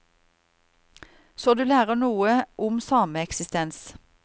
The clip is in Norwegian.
Så du lærer noe om sameksistens.